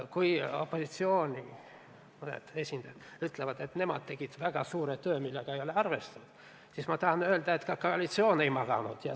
Kui mõned opositsiooni esindajad ütlevad, et nemad tegid ära väga suure töö, millega ei ole arvestatud, siis ma tahan öelda, et ka koalitsioon ei maganud.